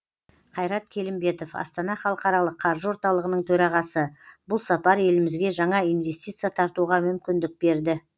қайрат келімбетов астана халықаралық қаржы орталығының төрағасы бұл сапар елімізге жаңа инвестиция тартуға мүмкіндік берді